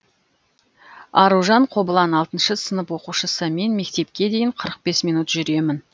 аружан қобылан алтыншы сынып оқушысы мен мектепке дейін қырық бес минут жүремін